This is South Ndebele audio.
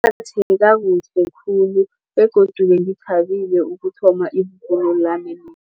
khulu begodu bengithabile ukuthoma ibubulo lami